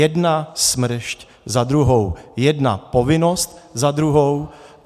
Jedna smršť za druhou, jedna povinnost za druhou.